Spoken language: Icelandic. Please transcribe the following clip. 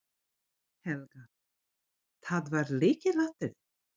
Helga: Það var lykilatriðið?